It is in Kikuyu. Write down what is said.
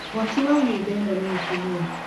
Mwaaki wa nyũmba ĩno nĩ mũtumia.